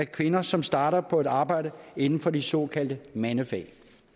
kvinder som starter på et arbejde inden for de såkaldte mandefag